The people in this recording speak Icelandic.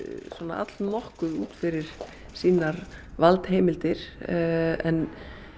allnokkuð út fyrir sínar valdheimildir en